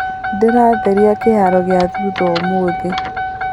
Ndĩratheria kĩharo gia thutha ũmũthĩ.